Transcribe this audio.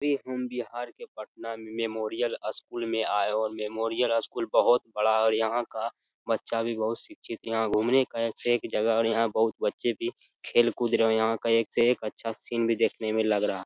अभी हम बिहार की पटना मेमोरियल स्कूल में आए है और मेमोरियल स्कूल भी बोहोत बड़ा है और यहाँ का बच्चा भी बोहोत शिक्षित यहाँ घुमने का एक से एक अच्छा जगह है और यहाँ के बच्चे भी खेल कूद रहे है और यहाँ का एक से एक अच्छा सीन भी देखने में लग रहा है ।